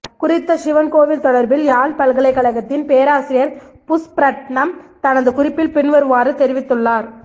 குறித்த சிவன் கோவில் தொடர்பில் யாழ் பல்கலைகழகத்தின் பேராசிரியர் புஸ்பரட்ணம் தனது குறிப்பில் பின்வருமாறு தெரிவித்துள்ளார்